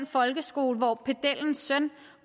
folkeskole hvor pedellens søn